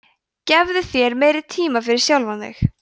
gefðu þér meiri tíma fyrir sjálfan þig